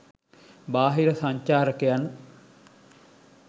බාහිර සංචාරකයන්